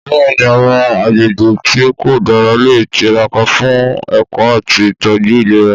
Bẹ́ẹ̀ni, àwọn agbègbè tí kò dára lè tiraka fún ẹ̀kọ́ àti ìtọ́jú ìlera.